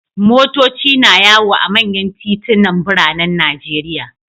Motoci na yawo a manyan titunan biranen Najeriya.